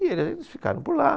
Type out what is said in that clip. E eles ficaram por lá.